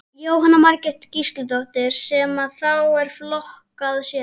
Jóhanna Margrét Gísladóttir: Sem að þá er flokkað sér?